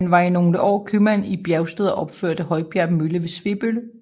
Han var i nogle år købmand i Bjergsted og opførte Højbjerg mølle ved Svebølle